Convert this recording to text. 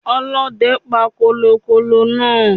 Ọlóde pa kòlòkòlò náa